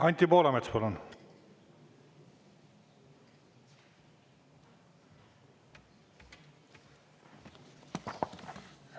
Anti Poolamets, palun!